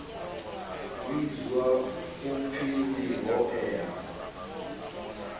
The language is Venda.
vhidzwa u pfi ndi hoea